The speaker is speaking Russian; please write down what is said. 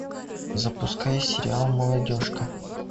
запуская сериал молодежка